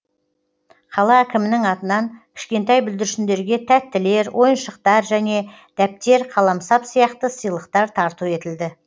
қала әкімінің атынан кішкентай бүлдіршіндерге тәттілер ойыншықтар және дәптер қаламсап сияқты сыйлықтар тарту етілді